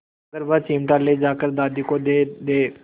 अगर वह चिमटा ले जाकर दादी को दे दे